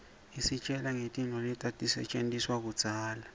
isitjela ngetintfu letatisetjentiswaluudzala